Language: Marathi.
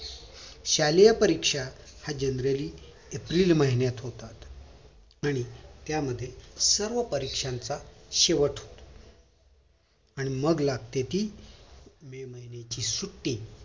शालेय परीक्षा ह्या generally एप्रिल महिन्यात होतात आणि त्या मध्ये सर्व परीक्षांचा शेवट आणि मग लागते ती मे महिन्याची सुट्टी